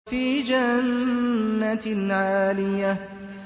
فِي جَنَّةٍ عَالِيَةٍ